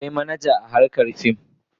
Akwai manaja a harkar fim.